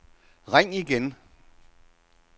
ring igen